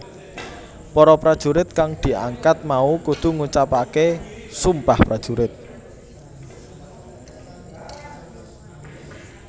Para prajurit kang diangkat mau kudu ngucapaké Sumpah Prajurit